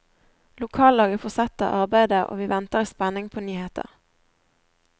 Lokallaget fortsetter arbeidet og vi venter i spenning på nyheter.